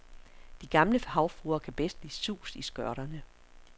De gamle havfruer kan bedst lide sus i skørterne.